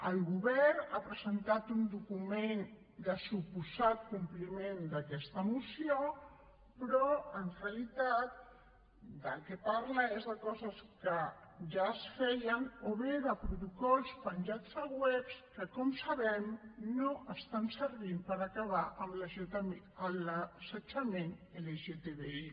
el govern ha presentat un document de suposat compliment d’aquesta moció però en realitat del que parla és de coses que ja es feien o bé de protocols penjats a webs que com sabem no estan servint per acabar amb l’assetjament lgtbi